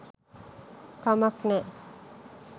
කමක් නෑ